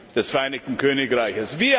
des Vereinigten Königreichs.